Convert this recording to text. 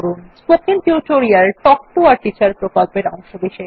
spoken tutorial talk to a teacher প্রকল্পের অংশবিশেষ